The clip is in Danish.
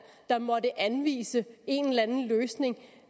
der måtte anvise en eller anden løsning